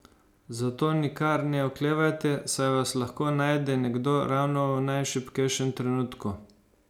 Zato nikar ne oklevajte, saj vas lahko najde nekdo ravno v najšibkejšem trenutku.